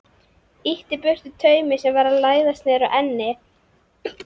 Ýtti burtu taumi sem var að læðast niður á ennið.